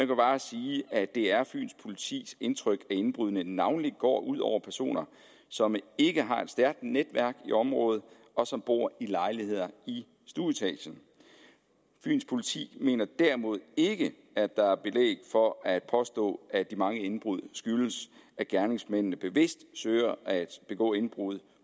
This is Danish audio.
kan bare sige at det er fyns politis indtryk at indbruddene navnlig går ud over personer som ikke har et stærkt netværk i området og som bor i lejligheder i stueetagen fyns politi mener derimod ikke at der er belæg for at påstå at de mange indbrud skyldes at gerningsmændene bevidst søger at begå indbrud